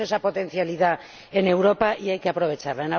Tenemos esa potencialidad en Europa y hay que aprovecharla.